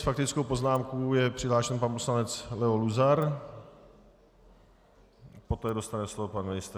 S faktickou poznámkou je přihlášen pan poslanec Leo Luzar, poté dostane slovo pan ministr.